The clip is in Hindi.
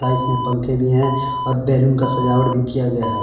इसमें पंखे भी हैं और बैलून का सजावट भी किया गया है।